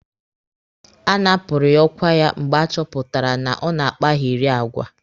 A napụrụ ya ọkwa ya mgbe a chọpụtara na ọ na-akpagheri agwa.